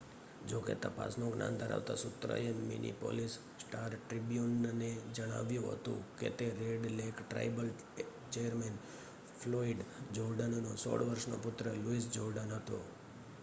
જો કે તપાસનું જ્ઞાન ધરાવતા સૂત્ર એ મિનેપોલિસ સ્ટાર-ટ્રિબ્યુનને જણાવ્યું હતું કે તે red lake tribal chairman Floyd જોર્ડેનનો 16 વર્ષનો પુત્ર લુઇસ જોર્ડેન હતો